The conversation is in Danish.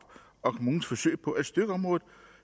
kommunens forsøg på at styrke området